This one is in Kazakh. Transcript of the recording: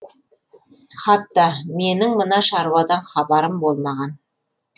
хатта менің мына шаруадан хабарым болмаған